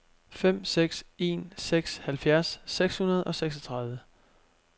fem seks en seks halvfjerds seks hundrede og seksogtredive